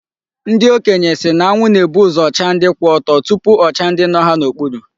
Ndị okenye sị na anwụ na-ebu uzo chaa ndị kwụ ọtọ tupu ọ chaa ndị nọ ha n'okpuru.